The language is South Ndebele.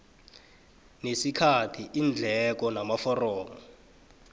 nesikhathi iindleko amaforomo